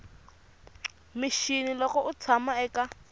mixini loko u tshama eka